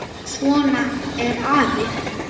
Svona er afi.